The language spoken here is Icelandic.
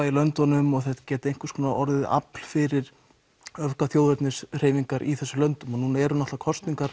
í löndunum og þetta geti orðið afl fyrir í þessum löndum nú eru kosningar